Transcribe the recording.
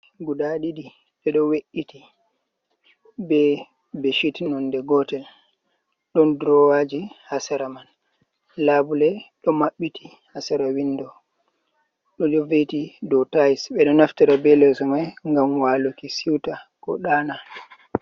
Leso guda ɗiɗi ɗi ɗo we’iti be bedsheets nonde gotel. Ɗon drawaji ha sera man. Labule ɗo mabbiti ha sera window. Ɗum ɗo ve'iti dou tiles. Ɓe ɗo naftira be leso mai ngam waluki siuta, ko ɗana.